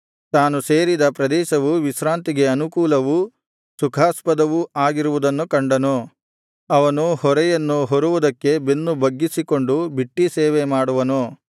ತಾನು ಸೇರಿದ ಪ್ರದೇಶವು ವಿಶ್ರಾಂತಿಗೆ ಅನುಕೂಲವೂ ಸುಖಾಸ್ಪದವೂ ಆಗಿರುವುದನ್ನು ಕಂಡನು ಅವನು ಹೊರೆಯನ್ನು ಹೊರುವುದಕ್ಕೆ ಬೆನ್ನು ಬಗ್ಗಿಸಿಕೊಂಡು ಬಿಟ್ಟೀ ಸೇವೆಮಾಡುವನು